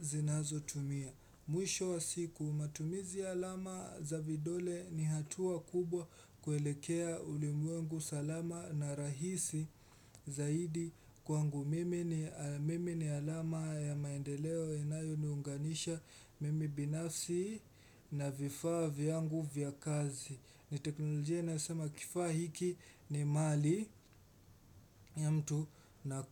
zinazo tumia Mwisho wa siku matumizi alama za vidole ni hatua kubwa kuelekea ulimwengu salama na rahisi zaidi kwangu Mimi ni alama ya maendeleo inayo ni unganisha mimi binasi na vifaa vyangu vya kazi. Ni teknolojia na asama kifaa hiki ni mali ya mtu naku.